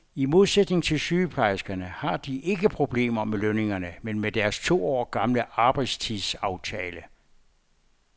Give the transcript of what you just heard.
I modsætning til sygeplejerskerne har de ikke problemer med lønningerne, men med deres to år gamle arbejdstidsaftale.